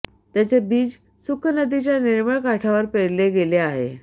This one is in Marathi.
त्याचे बीज सुखनदीच्या निर्मळ काठावर पेरले गेले आहे